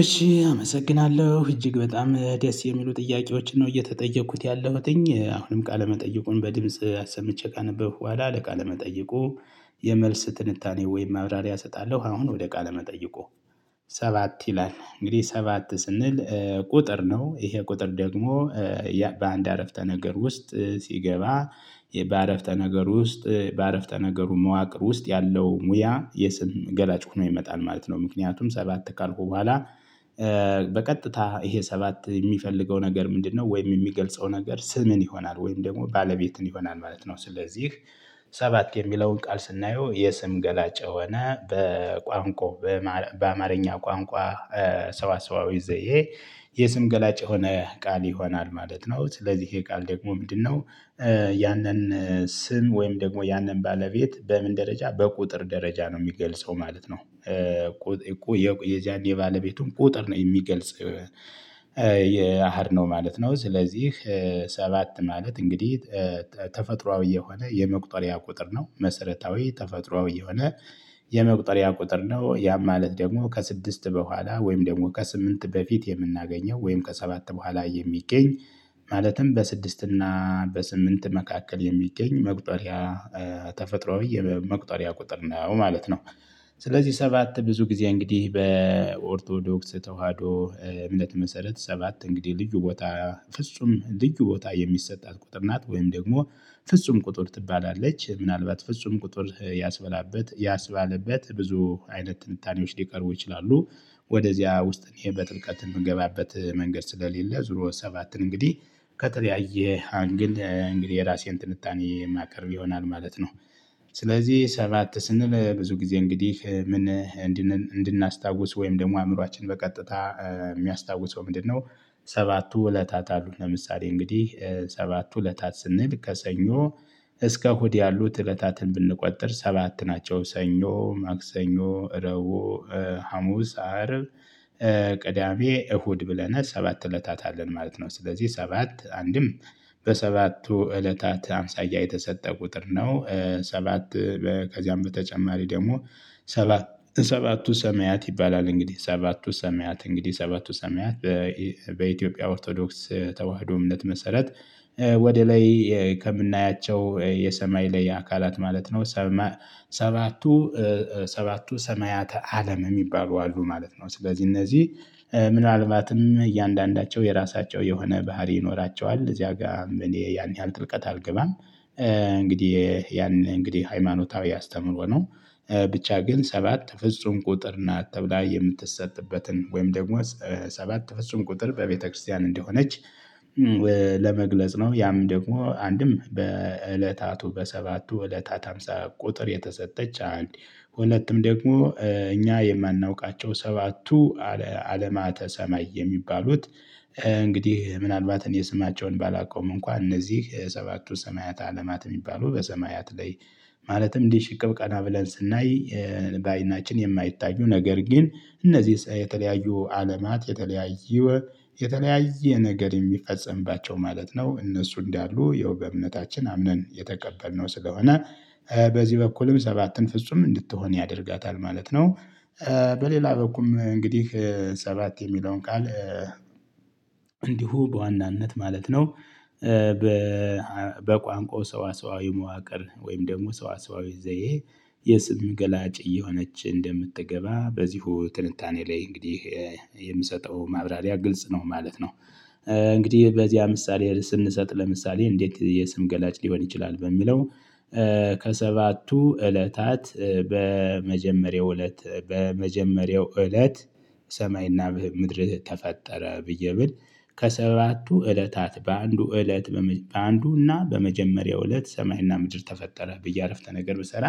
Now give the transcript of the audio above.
እሺ አመሰግናለሁ እጅግ በጣም ደስ የሚሉ ጥያቄዎችን ነው እየተጠየኩት ያለሁትኝ አሁንም ቃለመጠየቁን በድምጽ አሰምቼ ካነበብኩ በኋላ ለቃለመጠይቁ የመልስ ትንታኔ ወይም ማብራሪያ እሰጣለሁ። አሁን ወደ ቃል መጠይቁ። ሰባት ይላል እንግዲህ ሰባት ስንል ቁጥር ነው ይሄ ቁጥር ደግሞ በአንድ አረፍተ ነገር ውስጥ ሲገባ በአረፍተ ነገር ውስጥ በአረፍተ ነገሩ መዋቅር ውስጥ ያለው ሙያ የስም ገላጭ ሆኖ ይመጣል ማለት ነው። ምክንያቱም ሰባት ካልኩ በኋላ። በቀጥታ ይሄ ሰባት የሚፈልገው ነገር ምንድነው ወይም የሚገልጸው ነገር ስምን ይሆናል ወይም ደግሞ ባለቤትን ይሆናል ማለት ነው። ስለዚህ ሰባት የሚለውን ቃል ስናየው የስም ገላጭ የሆነ በቋንቋ በአማርኛ ቋንቋ ሰዋሰዋዊ ዘዬ የስም ገላጭ የሆነ ቃል ይሆናል ማለት ነው። ስለዚህ ይሄ ቃል ደግሞ ምንድነው? ያንን ስም ወይም ደግሞ ያንን ባለቤት በምን ደረጃ በቁጥር ደረጃ ነው የሚገልጸው ማለት ነው። የዚያን የባለቤቱን ቁጥር ነው የሚገልጽ። የአሃድ ነው ማለት ነው። ስለዚህ ሰባት ማለት እንግዲህ ተፈጥሮአዊ የሆነ የመቁጠሪያ ቁጥር ነው መሰረታዊ ተፈጥሮአዊ የሆነ የመቁጠሪያ ቁጥር ነው። ያ ማለት ደግሞ ከስድስት በኋላ ወይም ደግሞ ከስምንት በፊት የምናገኘው ወይም ከሰባት በኋላ የሚገኝ ማለትም በስድስት እና በስምንት መካከል የሚገኝ መቁጠሪያ ተፈጥሮአዊ መቁጠሪያ ቁጥር ነው ማለት ነው። ስለዚህ ሰባት ብዙ ጊዜ እንግዲህ በኦርቶዶክስ ተዋህዶ እምነት መሰረት ሰባት እንግዲህ ልዩ ቦታ ፍጹም ልዩ ቦታ የሚሰጣት ቁጥር ናት ወይም ደግሞ ፍጹም ቁጥር ትባላለች ምናልባት ፍጹም ቁጥር ያስበላበት ያስባለበት ብዙ አይነት ትንታኔዎች ሊቀርቡ ይችላሉ። ወደዚያ ውስጥ ይሄን በጥልቀት የምንገባበት መንገድ ስለሌለ ዞሮ ሰባትን እንግዲህ ከተለያየ አንግል እንግዲህ የራሴን ትንታኔ የማቀርብ ይሆናል ማለት ነው። ስለዚህ ሰባት ስንል ብዙ ጊዜ እንግዲህ ምን እንድናስታውስ ወይም ደግሞ አእምሮአችን በቀጥታ የሚያስታውሰው ምንድነው? ሰባቱ እለታት አሉ ለምሳሌ እንግዲህ ሰባቱ እለታት ስንል ከሰኞ እስከ እሁድ ያሉት እለታትን ብንቆጠር ሰባት ናቸው። ሰኞ ማክሰኞ ረቡዕ ሀሙስ አርብ ቅዳሜ እሁድ ብለናል ሰባት እለታት አለን ማለት ነው። ስለዚህ ሰባት አንድም በሰባቱ እለታት አምሳያ የተሰጠ ቁጥር ነው። ሰባት ከዚያም በተጨማሪ ደግሞ ሰባት ሰባቱ ሰማያት ይባላል። እንግዲህ ሰባቱ ሰማያት እንግዲህ ሰባቱ ሰማያት በኢትዮጵያ ኦርቶዶክስ ተዋህዶ እምነት መሰረት ወደ ላይ ከምናያቸው የሰማይ ላይ አካላት ማለት ነው። ሰባቱ ሰባቱ ሰማያተ አለም የሚባሉ አሉ ማለት ነው። ስለዚህ እነዚህ ምናልባትም እያንዳንዳቸው የራሳቸው የሆነ ባህሪ ይኖራቸዋል እዚያ ጋር እኔ ያን ያህል ጥልቀት አልገባም። እንግዲህ ያን እንግዲህ ሃይማኖታዊ ያስተምሮ ነው። ብቻ ግን ሰባት ፍጹም ቁጥር ናት ተብላ የምትሰጥበትን ወይም ደግሞ ሰባት ፍጹም ቁጥር በቤተክርስቲያን እንደሆነች። ለመግለጽ ነው ያም ደግሞ አንድም በእለታቱ በሰባቱ እለታት ሃምሳ ቁጥር የተሰጠች አንድ ሁለቱም ደግሞ እኛ የማናውቃቸው ሰባቱ አለማተ ሰማይ የሚባሉት። እንግዲህ ምናልባት እኔ ስማቸውን ባላውቀውም እንኳን እነዚህ ሰባቱ ሰማያት አለማት የሚባሉ በሰማያት ላይ ማለትም እንዲህ ሽቅብ ቀና ብለን ስናይ። ባይናችን የማይታዩ ነገር ግን እነዚህ የተለያዩ አለማት የተለያየ የተለያየ ነገር የሚፈጽምባቸው ማለት ነው። እነሱ እንዳሉ የውበ እምነታችን አምነን የተቀበልነው ስለሆነ በዚህ በኩልም ሰባትን ፍጹም እንድትሆን ያደርጋታል ማለት ነው። በሌላ በኩልም እንግዲህ ሰባት የሚለውን ቃል እንዲሁ በዋናነት ማለት ነው። በቋንቋው ሰዋሰዋዊ መዋቅር ወይም ደግሞ ሰዋሰዋዊ ዘዬ የስም ገላጭ እየሆነች እንደምትገባ በዚሁ ትንታኔ ላይ እንግዲህ የምሰጠው ማብራሪያ ግልጽ ነው ማለት ነው። እንግዲህ በዚያ ምሳሌ ስንሰጥ ለምሳሌ እንዴት የስም ገላጭ ሊሆን ይችላል በሚለው? ከሰባቱ እለታት በመጀመሪያው እለት በመጀመሪያው እለት ሰማይና ምድር ተፈጠረ ብዬ ብል ከሰባቱ እለታት በአንዱ እለት በአንዱና በመጀመሪያው እለት ሰማይና ምድር ተፈጠረ ብዬ አረፍተ ነገር ብሰራ።